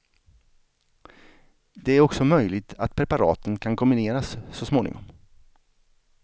Det är också möjligt att preparaten kan kombineras så småningom.